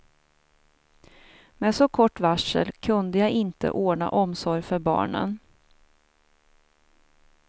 Med så kort varsel kunde jag inte ordna omsorg för barnen.